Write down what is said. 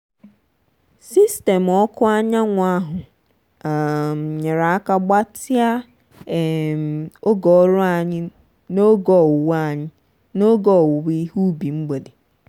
sistemu ọkụ anyanwụ ahụ um nyere aka gbatịa um oge ọrụ anyị n'oge owuwe anyị n'oge owuwe ihe ubi mgbede.